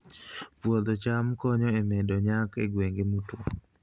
Puodho cham konyo e medo nyak e gwenge motwo